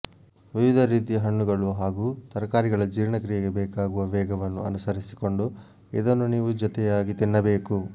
ವಿವಿಧ ರೀತಿಯ ಹಣ್ಣುಗಳು ಹಾಗೂ ತರಕಾರಿಗಳ ಜೀರ್ಣಕ್ರಿಯೆಗೆ ಬೇಕಾಗುವ ವೇಗವನ್ನು ಅನುಸರಿಸಿಕೊಂಡು ಇದನ್ನು ನೀವು ಜತೆಯಾಗಿ ತಿನ್ನಬೇಕು